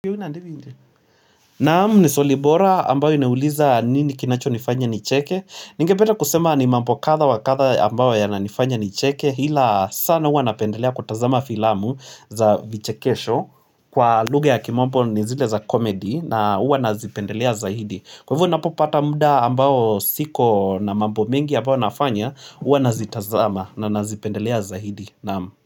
Naam ni swali bora ambayo inauliza nini kinacho nifanya nicheke Ningependa kusema ni mambo kadha wa kadha ambayo yananifanya nicheke ila sana huwa napendelea kutazama filamu za vichekesho Kwa lugha ya kimombo ni zile za comedy na huwa nazipendelea zaidi Kwa hivyo ninapopata muda ambao siko na mambo mengi ambayo nafanya hua nazitazama na nazipendelea zaidi Naam.